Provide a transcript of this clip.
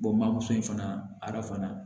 in fana arafan